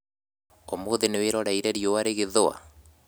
ũmũthĩ nĩwĩroreire riũa rĩgĩthũa